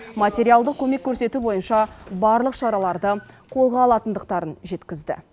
материалдық көмек көрсету бойынша барлық шараларды қолға алатындықтарын жеткізді